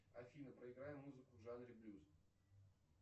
афина проиграй музыку в жанре блюз